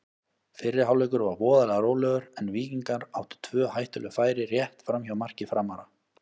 Fyrri hálfleikur var voðalega rólegur en Víkingar áttu tvö hættuleg færi rétt framhjá marki Framara.